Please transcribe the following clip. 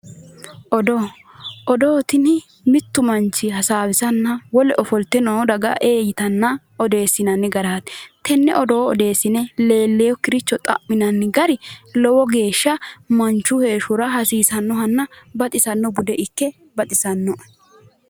Odoo, odoo tini mittu manchi hasaawisanna wole ofolte noo daga ee yitanna odeessinanni garaati. tenne odoo odeessine leellewookkiricho xa'minanni gari lowo geeshsha manchu heeshshora hasiisannohanna baxisanno bude ikke baxisannoe.